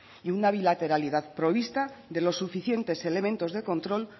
y una bilateralidad provista de los suficientes elementos de control